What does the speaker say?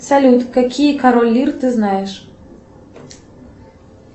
салют какие король лир ты знаешь